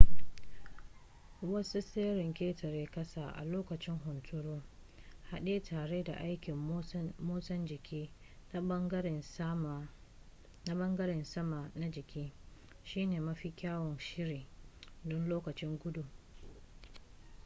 wasu tseren ƙetare-ƙasa a lokacin hunturu haɗe tare da aikin motsa jiki na ɓangaren sama na jiki shine mafi kyawun shiri don lokacin gudu